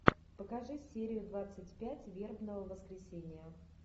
покажи серию двадцать пять вербного воскресенья